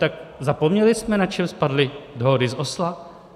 Tak zapomněli jsme, na čem spadly dohody z Osla?